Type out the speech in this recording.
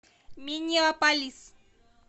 миннеаполис